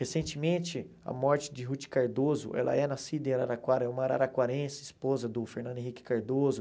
Recentemente, a morte de Ruth Cardoso, ela é nascida em Araraquara, é uma araraquarense, esposa do Fernando Henrique Cardoso.